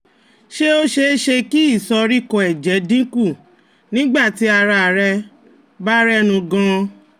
Ṣé ó ṣeé ṣe kí ìsoríkọ́ ẹ̀jẹ̀ dín kù nígbà tí ara rẹ bá rẹnu gan-an?